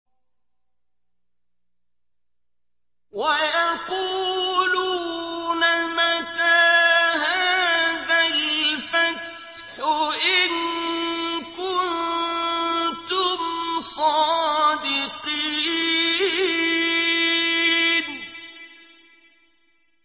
وَيَقُولُونَ مَتَىٰ هَٰذَا الْفَتْحُ إِن كُنتُمْ صَادِقِينَ